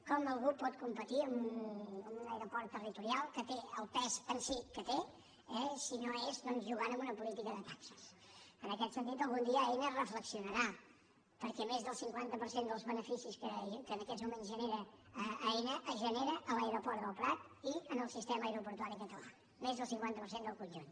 com algú pot competir amb un aeroport territorial que té el pes en si que té si no és doncs jugant amb una política de taxes en aquest sentit algun dia a ena reflexio·narà perquè més de cinquanta per cent dels beneficis que en aquests moments genera aena els genera a l’aeroport del prat i en el sistema aeroportuari català més del cinquanta per cent del conjunt